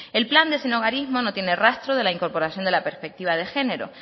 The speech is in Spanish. el plan de sinhogarismos no tiene rastro de la incorporación de la perspectiva de género